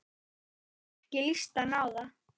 Ekki líst henni á það.